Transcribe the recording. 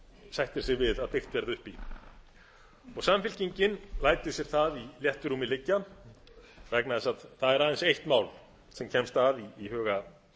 sættir sig við að byggt verði upp í samfylkingin lætur sér það í réttu rúmi liggja vegna þess að það er aðeins eitt mál sem kemst að í huga